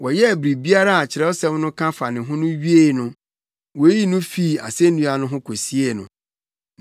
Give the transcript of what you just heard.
Wɔyɛɛ biribiara a Kyerɛwsɛm no ka fa ne ho wiee no, woyii no fii asennua no so kosiee no.